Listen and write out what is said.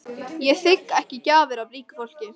Ég þigg ekki gjafir af ríku fólki.